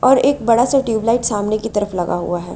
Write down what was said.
और एक बड़ा सा ट्यूबलाइट सामने की तरफ लगा हुआ है।